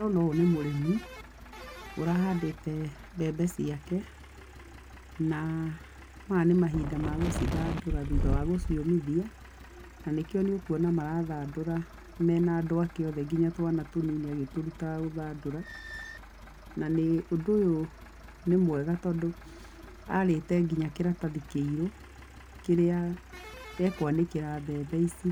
Ndĩrona ũyũ nĩ mũrĩmi ũrahandĩte mbembe ciake na maya nĩ mahinda magũcithandũra thutha wa gũciũmithia na nĩkĩo nĩũkũona marathandũra mena andũ ake othe nginya twana tũnini agĩtũrũtaga gũthandũra na nĩ ũndũ ũyũ nĩ mwega tondũ arĩte nginya kĩratathi kĩirũ, kĩrĩa e kwanĩkĩra mbembe ici